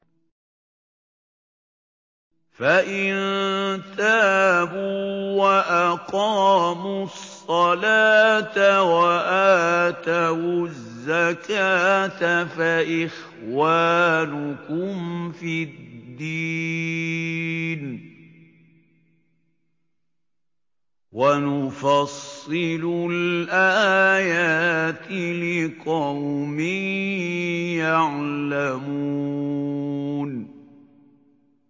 فَإِن تَابُوا وَأَقَامُوا الصَّلَاةَ وَآتَوُا الزَّكَاةَ فَإِخْوَانُكُمْ فِي الدِّينِ ۗ وَنُفَصِّلُ الْآيَاتِ لِقَوْمٍ يَعْلَمُونَ